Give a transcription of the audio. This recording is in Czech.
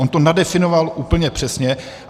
On to nadefinoval úplně přesně.